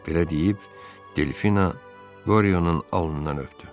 Belə deyib Delfina Qoryonun alnından öpdü.